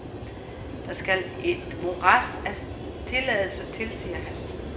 Der skal et morads af tilladelser til, siger han.